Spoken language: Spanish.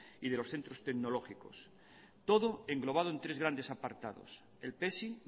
y de los centros tecnológicos todo englobado en tres grandes apartados el pesi